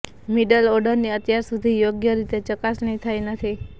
middle ઓર્ડરની અત્યાર સુધી યોગ્ય રીતે ચકાસણી થઈ નથી